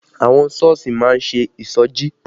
Àwọn Sọ́ọ̀sì má ń ṣe ìṣọjí